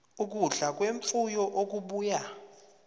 ukudla kwemfuyo okubuya